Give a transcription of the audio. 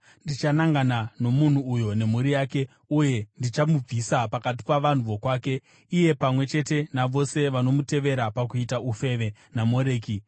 ndichanangana nomunhu uyo nemhuri yake, uye ndichamubvisa pakati pavanhu vokwake, iye pamwe chete navose vanomutevera pakuita ufeve naMoreki.